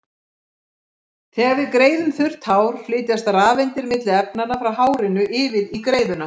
Þegar við greiðum þurrt hár flytjast rafeindir milli efnanna, frá hárinu yfir á greiðuna.